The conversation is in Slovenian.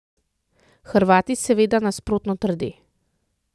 Hrvati seveda nasprotno trde.